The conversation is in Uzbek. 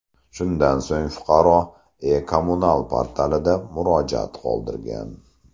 Shundan so‘ng fuqaro E-kommunal portalida murojaat qoldirgan.